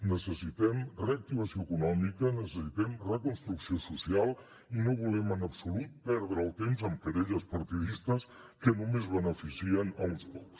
necessitem reactivació econòmica necessitem reconstrucció social i no volem en absolut perdre el temps amb querelles partidistes que només beneficien uns pocs